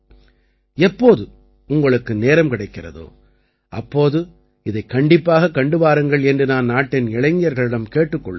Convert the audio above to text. எப்போது உங்களுக்கு நேரம் கிடைக்கிறதோ அப்போது இதைக் கண்டிப்பாகக் கண்டு வாருங்கள் என்று நான் நாட்டின் இளைஞர்களிடம் கேட்டுக் கொள்கிறேன்